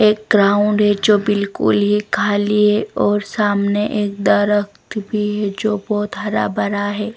एक ग्राउंड है जो बिल्कुल ही खाली है और सामने एक दरख्त भी है जो बहुत हरा भरा है.